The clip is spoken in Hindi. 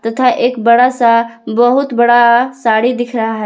तथा एक बड़ा सा बहुत बड़ा साड़ी दिख रहा है।